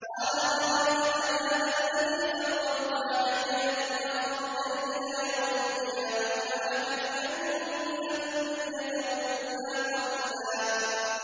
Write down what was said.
قَالَ أَرَأَيْتَكَ هَٰذَا الَّذِي كَرَّمْتَ عَلَيَّ لَئِنْ أَخَّرْتَنِ إِلَىٰ يَوْمِ الْقِيَامَةِ لَأَحْتَنِكَنَّ ذُرِّيَّتَهُ إِلَّا قَلِيلًا